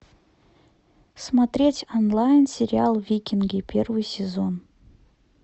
смотреть онлайн сериал викинги первый сезон